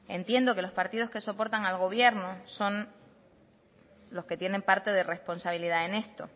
entiendo que los partidos que soportan al gobierno son los que tienen parte de responsabilidad en esto